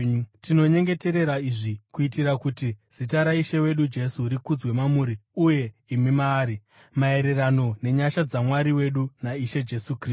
Tinonyengeterera izvi kuitira kuti zita raIshe wedu Jesu rikudzwe mamuri, uye imi maari, maererano nenyasha dzaMwari wedu naIshe Jesu Kristu.